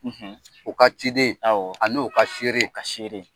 O ka ciden; Awɔ; A n'o ka fieere; O ka seere.